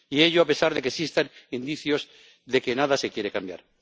Y ello a pesar de que existan indicios de que nada se quiere cambiar.